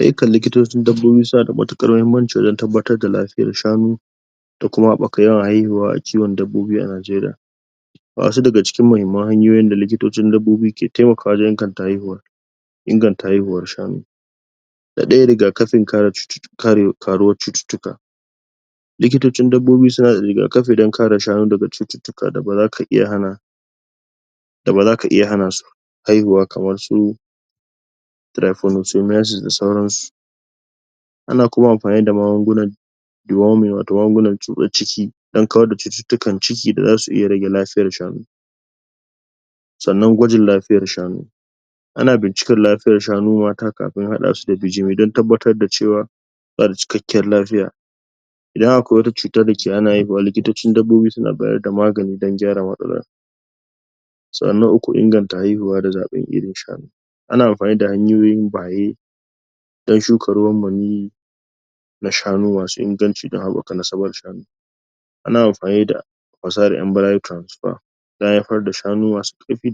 Ayyukan likitocin dabbobi suna da matuƙsr mahimmanci wajen tabbatar da lafiyan shanu da kuma haɓaka yawan haihuwa a kiwon dabbobi a Najeriya Wasu daga cikin mahimman hanyoyin da likitocin dabbobi ke taimakawa wajen inganta haihuwa inganta haihuwar shanu da rigakafin kare ƙaruwan cututtuka likitocin dabbobi suna rigakafi don kare shanu daga cututtuka da baza iya hana da baza ka iya hana su haihuwa kamar su trypanosomiasis da dai sauran su ana kuma amfani da magunguna deworming watau na tsutsan ciki don kawar da cututtukan ciki zasu iya rage lafiyan shanu sannan gwajin lafiyan shanu ana bincikar shanu mata kafin haɗa su da bijimi don tabbatar da cewa suna da cikakken lafiya idan akwai wata cuta da hana haihuwa likitocin dabbobi suna bayar da magani don gyara mastalana sannan na uku inganta lafiya da zaɓen iirn shanu ana amfani da hanyoyin baye don shuka ruwan maniyyi na shanu masu inganci don haɓaka nasabar shanu ana amfani da? don haifar da shanu masu ƙarfi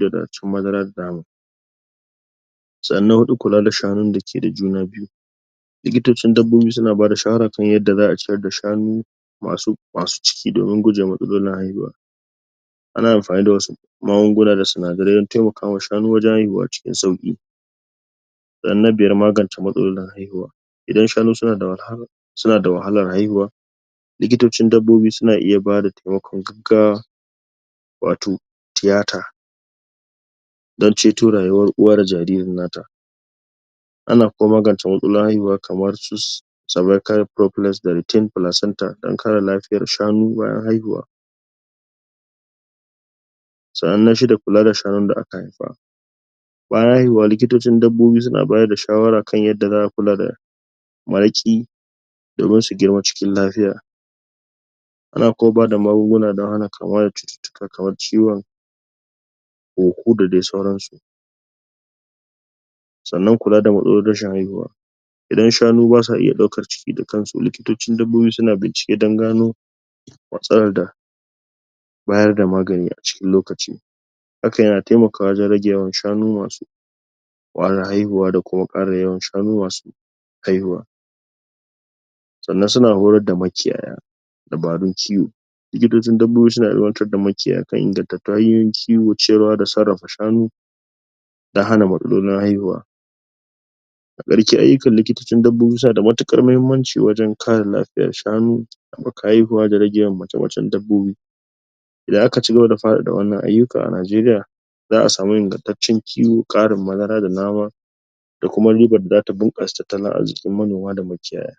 sannan kula da shanu da juna biyu likitocin dabbobi suna ba da shawara ta yadda za a ciyar da shanu masu cikin don gujewa matsalolin haihuwa ana amfani da wasu magunguna da sinadarai don taimakawa shanu wajen haihuwa cikin sauƙi na biyar magance matsalolin haihuwa idan shanu suna da suna da wahalar haihuwa likitocin dabbobi suna iya ba da taimakon gaggawa watau tiyata don ceto rayuwan uwa da jaririn ta ana kuma magance matsalolin haihuwa kaman su? retained placenta don kare lafiyan shanu bayan haihuwa sannan na shida kula da shanun da aka haifa bayan haihuwa likitocin dabbobi suna bayar da shawara kan yadda za a kula da maraƙi domin su girma cikin lafiya ana kuma ba da magunguna don hana kamuwa da cututtuka kaman ciwon huhu da dai sauransu sannan kula da matsalolin rashi haihuwa idan shanu basa iya ɗaukar ciki da kansu likitocin dabbobi suna bincike don gano matsalar da bayar da magani a cikin lokaci hakan yana taimakawa wajen rage shanu masu wahalar haihuwa da kuma ƙara yawan shanu masu haihuwa sannan suna horar da makiyaya dabarun kiwo likitocin dabbobi suna ilimantar da makiyaya kan inganta hanyoyin kiwo, ciyarwa da sarrafar shanu don hana matsalolin haihuwa ayyukan likitocin dabbobi suna da matuƙar mahimmanci wajen kare lafiyan shanu haɓaka haihuwa da rage mace-macen dabbobi idan aka cigaba da faɗaɗa wannan ayyuka a Najeriya za a samu ingantaccen kiwo, ƙarin madara da nama da kuma riban da zata bunƙasa tattalin arzikin manoma da makiyaya.